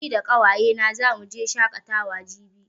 Ni da ƙawaye na zamu je shaƙatawa jibi